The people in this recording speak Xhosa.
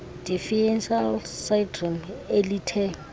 deficiency syndrome elithe